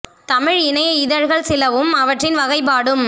தமிழ் இணைய இதழ்கள் சிலவும் அவற்றின் வகைப்பாடும்